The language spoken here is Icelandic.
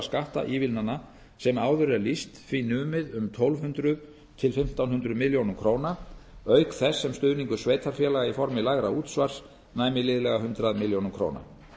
skattívilnana sem áður er lýst því numið tólf hundruð til fimmtán hundruð milljóna króna auk þess sem stuðningur sveitarfélaga í formi lægra útsvars næmi liðlega hundrað milljónir króna